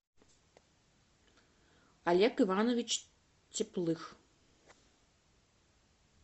олег иванович теплых